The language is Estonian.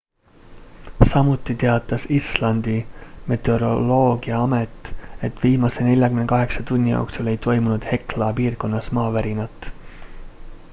samuti teatas islandi meteoroloogiaamet et viimase 48 tunni jooksul ei toimunud hekla piirkonnas maavärinat